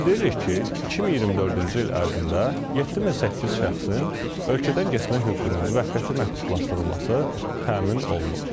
Bildiririk ki, 2024-cü il ərzində 7800 şəxsin ölkədən getmək hüququnun müvəqqəti məhdudlaşdırılması təmin olunub.